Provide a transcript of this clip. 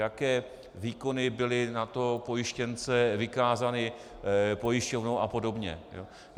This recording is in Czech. Jaké výkony byly na toho pojištěnce vykázány pojišťovnou a podobně.